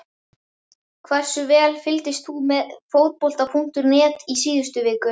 Hversu vel fylgdist þú með Fótbolta.net í síðustu viku?